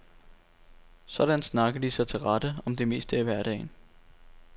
Sådan snakker de sig til rette om det meste i hverdagen.